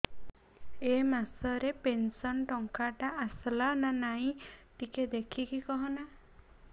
ଏ ମାସ ରେ ପେନସନ ଟଙ୍କା ଟା ଆସଲା ନା ନାଇଁ ଟିକେ ଦେଖିକି କହନା